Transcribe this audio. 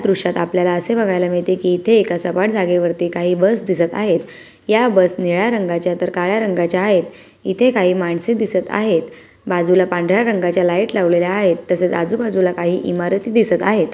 दृश्यात आपल्याला असे बघायला मिळते की इथे एका सपाट जागेवर काही बस दिसत आहे. या बस निळ्या रंगाच्या आहेत तर काळ्या रंगाच्या आहे इथे काही माणस दिसत आहेत. बाजुला पांढऱ्या रंगाच्या लाईट लावलेले आहेत तसेच आजुबाजुला काही इमारती दिसत आहेत.